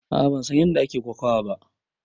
A'a ban san ƴanda ake kokawa ba.